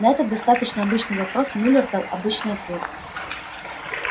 на этот достаточно обычный вопрос мюллер дал обычный ответ